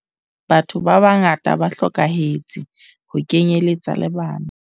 Batho ba bangata ba hlokahetse ho kenyeletsa le bana.